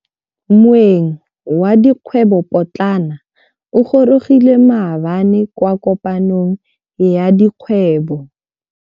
Moêng wa dikgwêbô pôtlana o gorogile maabane kwa kopanong ya dikgwêbô.